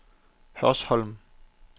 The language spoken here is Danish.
Hørsholm